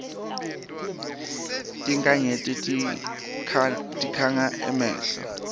tinkhanyeti tikhanga emehlo